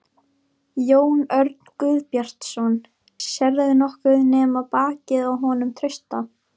Jón Örn Guðbjartsson: Sérðu nokkuð nema bakið á honum Trausta?